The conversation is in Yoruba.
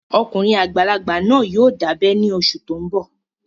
Ọkùnrin àgbàlagbà náà yóò dábẹ́ ní oṣù tó n bọ̀